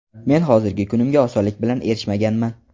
Men hozirgi kunimga osonlik bilan erishmaganman.